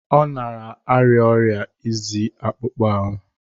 Ọ na-arịa ọrịa izi akpụkpọ ahụ.